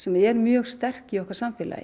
er mjög sterk í okkar samfélagi